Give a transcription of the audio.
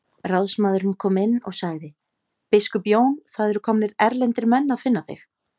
Ráðsmaðurinn kom inn og sagði:-Biskup Jón, það eru komnir erlendir menn að finna þig.